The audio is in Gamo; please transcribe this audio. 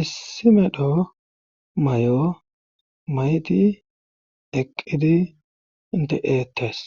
issi medhdho mayo mayiddi eqqidi de'eettes.